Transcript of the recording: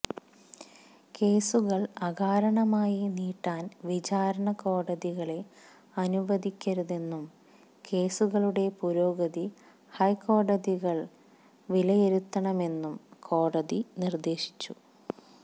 കേസുകള് അകാരണമായി നീട്ടാന് വിചാരണക്കോടതികളെ അനുവദിക്കരുതെന്നും കേസുകളുടെ പുരോഗതി ഹൈക്കോടതികള് വിലയിരുത്തണമെന്നും കോടതി നിര്ദേശിച്ചു